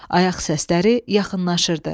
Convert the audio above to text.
Ayaq səsləri yaxınlaşırdı.